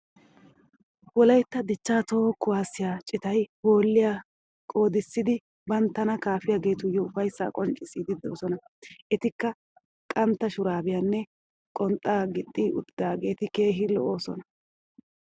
Wolaytta dichchaa toho kuwaassiya cittay hooliya qoodissidi bantana kaafiyageetuyo ufayssaa qoncciziidi doososna. etikka qantta shuraabiyanne qonxxaa gixxi uttidaageti keehi lo'oosona.